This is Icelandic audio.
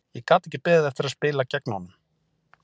Ég gat ekki beðið eftir að spila gegn honum.